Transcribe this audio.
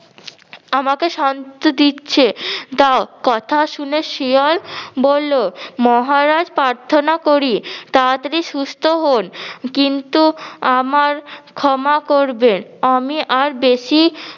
আমাকে শান্ত দিচ্ছে দাও কথা শুনে শেয়াল বললো মহারাজ প্রার্থনা করি তাড়াতাড়ি সুস্থ হন কিন্তু আমার ক্ষমা করবেন আমি আর বেশি-